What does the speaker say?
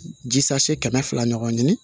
Ji sase kɛmɛ fila ɲɔgɔn